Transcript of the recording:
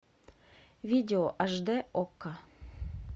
видео аш дэ окко